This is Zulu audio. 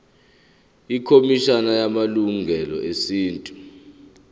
ikhomishana yamalungelo esintu